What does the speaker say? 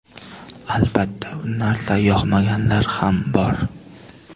Albatta, bu narsa yoqmaganlar ham bor.